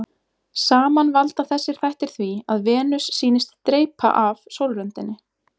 Saman valda þessir þættir því að Venus sýnist dreypa af sólröndinni.